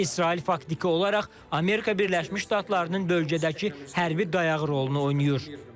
İsrail faktiki olaraq Amerika Birləşmiş Ştatlarının bölgədəki hərbi dayağı rolunu oynayır.